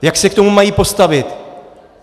Jak se k tomu mají postavit?